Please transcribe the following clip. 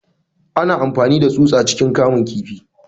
Ana amfani da tsusa ciikin kamun kifi.